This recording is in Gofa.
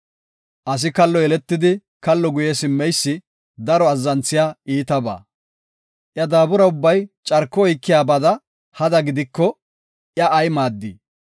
Asi kallo yeletidi kallo guye simmeysi daro azzanthiya iitabaa. Iya daabura ubbay carko oykiyabada hada gidiko iya ay maaddii?